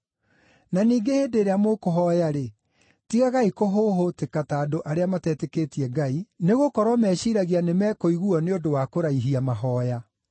Na ningĩ hĩndĩ ĩrĩa mũkũhooya-rĩ, tigagai kũhũhũtĩka ta andũ arĩa matetĩkĩtie Ngai, nĩgũkorwo meciiragia nĩ mekũiguuo nĩ ũndũ wa kũraihia mahooya.